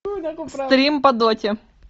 стрим по доте